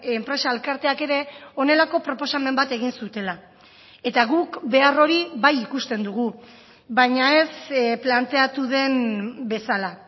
enpresa elkarteak ere honelako proposamen bat egin zutela eta guk behar hori bai ikusten dugu baina ez planteatu den bezala